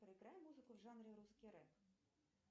проиграй музыку в жанре русский рэп